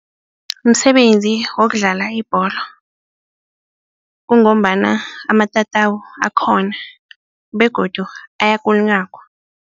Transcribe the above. Msebenzi wokudlala ibholo kungombana amatatawu akhona begodu ayakulunyagwa.